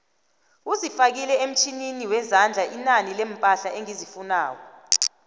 uzifake emtjhininiwezandla inani leempahla engizifunako